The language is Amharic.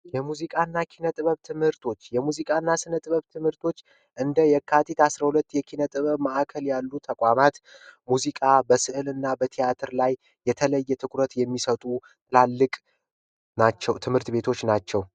የሙዚቃ እና ኪነጥበብ ትምህርቶች! የሙዚቃ እና ኪነጥበብ። ትምህርቶች እንደ የካቲት አስራ ሁለት የኪነ ጥበብ ማዕከል ያሉ ተቋማት ሙዚቃ በስዕል እና በቲያትር ላይ የተለየ ትኩረት የሚሰጡ ትላልቅ ትምህርት ቤቶች ናቸው።